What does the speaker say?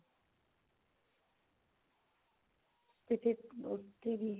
ਤੇ ਫੇਰ ਉੱਥੇ ਵੀ